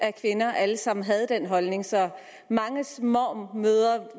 af kvinder alle sammen havde den holdning så manges mormor